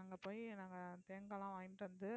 அங்க போய் நாங்க தேங்காய் எல்லாம் வாங்கிட்டு வந்து,